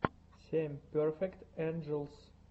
семь перфект энджелс